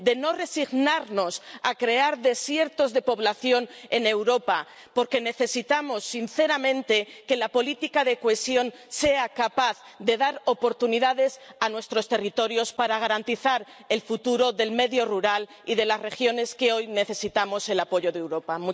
Y no resignarnos a crear desiertos de población en Europa, porque necesitamos sinceramente que la política de cohesión sea capaz de dar oportunidades a nuestros territorios para garantizar el futuro del medio rural y de las regiones que hoy necesitan el apoyo de Europa.